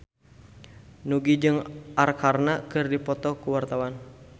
Nugie jeung Arkarna keur dipoto ku wartawan